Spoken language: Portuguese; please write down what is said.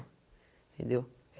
Entendeu?